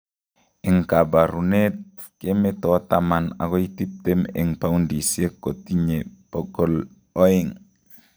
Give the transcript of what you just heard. Eng' kaboruneet kemeto taman akoi tiptem eng' poundisiek kotitinye bokol oeng'